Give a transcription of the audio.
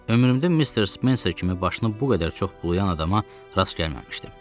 Ömrümdə Missis Spencer kimi başını bu qədər çox bulayan adama rast gəlməmişdim.